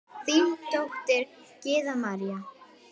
Þín dóttir, Gyða María.